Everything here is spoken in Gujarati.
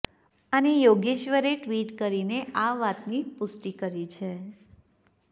અને યોગેશ્વરે ટ્વિટ કરીને આ વાતની પૃષ્ટિ કરી છે